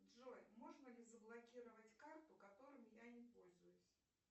джой можно ли заблокировать карту которыми я не пользуюсь